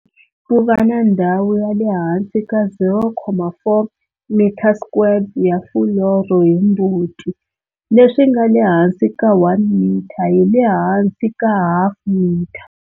Ku va na ndhawu ya le hansi ka 0,4 m2 ya fuloro hi mbuti, leswi nga le hansi ka 1 m hi le hansi ka half m.